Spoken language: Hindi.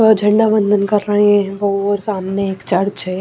झंडा वंदन कर रहे हैं वो और सामने एक चर्च है।